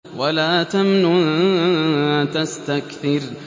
وَلَا تَمْنُن تَسْتَكْثِرُ